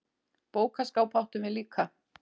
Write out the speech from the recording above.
Bókaskáp áttum við líka.